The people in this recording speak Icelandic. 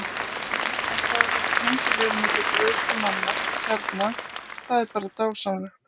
Að fá að vera tengiliður milli guðs og manna hérna- það er bara dásamlegt.